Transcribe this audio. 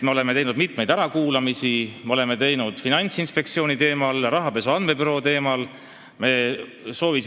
Me oleme teinud mitmeid ärakuulamisi, me oleme neid teinud Finantsinspektsiooni töö teemal, rahapesu andmebüroo töö teemal.